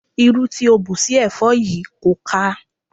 Irú tí o ń bù sí ẹ̀fọ́ yìí kò ká a.